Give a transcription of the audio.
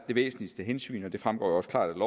væsentligste hensyn og det fremgår jo også klart